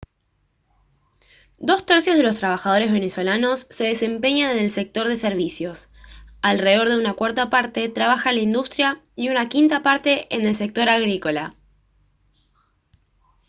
dos tercios de los trabajadores venezolanos se desempeñan en el sector de servicios alrededor de una cuarta parte trabaja en la industria y una quinta parte en el sector agrícola